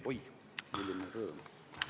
Urmas Kruuse, palun!